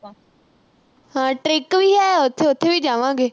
ਹਾਂ trick ੀ ਹੈ, ਉਥੇ ਅਹ ਉਥੇ ਵੀ ਜਾਵਾਂਗੇ।